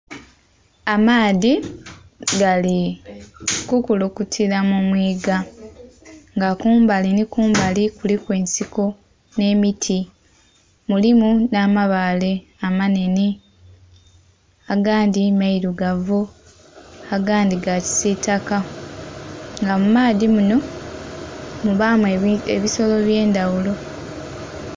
Amaadhi gali kukulukutila mumwiiga nga kumbali nhi kumbali kuliku ensiko nh'emiti mulumu nh'amabaale amanhenhe gandhi mailugavu agandhi gakisitaka nga mumaadhi munho mubamu ebisolo ebyendhaghulo.